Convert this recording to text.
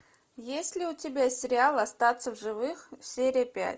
есть ли у тебя сериал остаться в живых серия пять